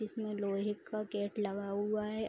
इसमें लोहे का गेट लगा हुआ है।